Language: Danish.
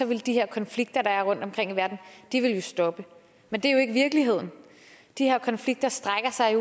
ville de her konflikter der er rundtomkring i verden stoppe men det er ikke virkeligheden de her konflikter strækker sig